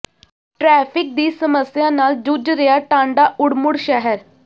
traffic ਦੀ ਸਮੱਸਿਆ ਨਾਲ ਜੂਝ ਰਿਹਾ ਟਾਂਡਾ ਉੜਮੁੜ ਸ਼ਹਿਰ